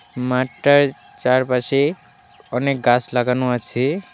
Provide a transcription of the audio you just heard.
মাঠটার চারপাশে অনেক গাছ লাগানো আছে .